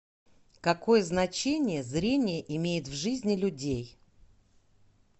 какое значение зрение имеет в жизни людей